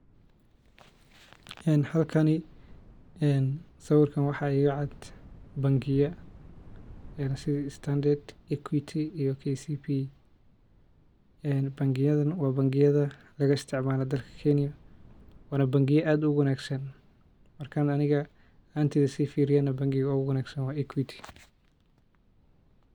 Halka sawrika waxaa igacad bangiya sidhi starnadard equity iyo kcb bangiyadha waa bangiya lagaisticmaalo Kenya waan bangiya aad uwanaagsan. Marka ani ahaantey sifiiryo neh bangiga uguwanaagsan waa equity.